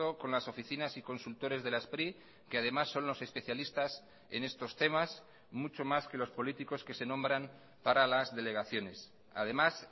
con las oficinas y consultores de la spri que además son los especialistas en estos temas mucho más que los políticos que se nombran para las delegaciones además